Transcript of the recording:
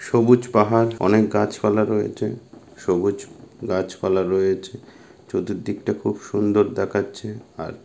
সবুজ পাহাড় অনেক গাছপালা রয়েছে। সবুজ গাছপালা রয়েছে চতুর দিকটা খুব সুন্দর দেখাচ্ছে। আর--